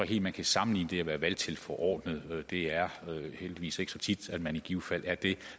helt man kan sammenligne det med at være valgtilforordnet det er heldigvis ikke så tit at man i givet fald er det